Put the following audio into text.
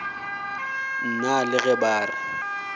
nna le ge ba re